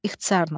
İxtisarla.